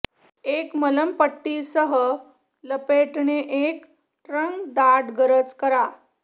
एक मलमपट्टी सह लपेटणे एक ट्रंक दाट गरज करा